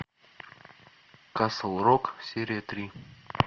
касл рок серия три